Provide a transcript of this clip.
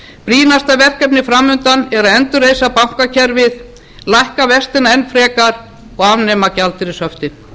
brýnasta verkefnið fram undan er að endurreisa bankakerfið lækka vextina enn frekar og afnema gjaldeyrishöftin